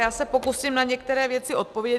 Já se pokusím na některé věci odpovědět.